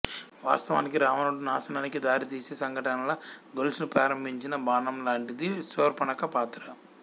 వాస్తవానికి రావణుడి నాశనానికి దారితీసే సంఘటనల గొలుసును ప్రారంభించిన బాణంలాంటిది శూర్పణఖ పాత్ర